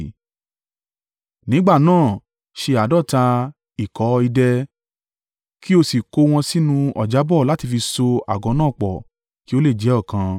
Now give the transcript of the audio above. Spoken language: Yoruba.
Nígbà náà ṣe àádọ́ta ìkọ́ idẹ kí o sì kó wọn sínú ọ̀jábó láti fi so àgọ́ náà pọ̀ kí ó lè jẹ́ ọ̀kan.